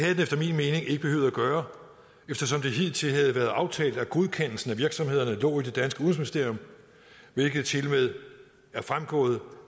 gøre eftersom det hidtil havde været aftalt at godkendelsen af virksomhederne lå i udenrigsministerium hvilket tilmed er fremgået